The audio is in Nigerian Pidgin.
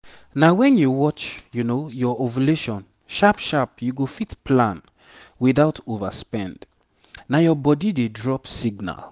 na when you watch your ovulation sharp sharp you go fit plan without overspend nah your body dey drop signal